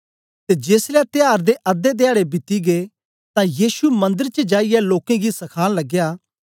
ते जेसलै त्याहर दे अधे ध्याडे बीती गै तां यीशु मंदर च जाईयै लोकें गी सखान लगया